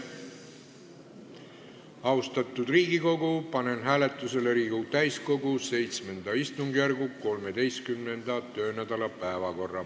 Austatud Riigikogu, panen hääletusele Riigikogu täiskogu VII istungjärgu 13. töönädala päevakorra.